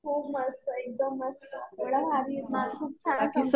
खूप मस्त. एकदम मस्त. एवढ्या भारी आहेत ना. खूप छान समजावतात.